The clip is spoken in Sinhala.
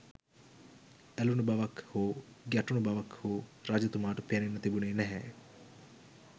ඇලූණු බවක් හෝ ගැටුණු බවක් හෝ රජතුමාට පෙනෙන්න තිබුණෙ නැහැ